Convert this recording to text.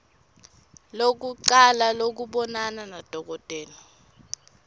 lekucala lekubonana nadokotela